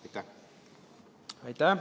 Aitäh!